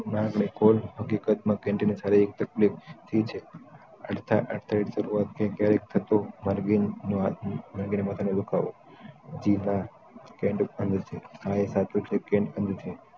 હમણાં નિકોલ હકીકત માં candidate સારી એક તકલીફ થઈ છે અર્થાત શરૂઆત માં ક્યારેક થતું વ્યક્તિ ને અરબીન માથાનો દુખાવો જી હા હા એ સાચું છે કે